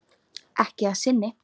Ekki að sinni.